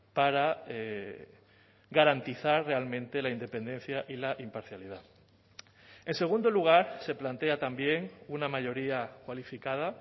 para garantizar realmente la independencia y la imparcialidad en segundo lugar se plantea también una mayoría cualificada